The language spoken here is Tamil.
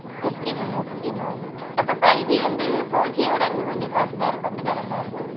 okay mam okay mam அப்போ five G வந்து four G விட இன்னும் கொஞ்ச fast ஆ இருக்கும்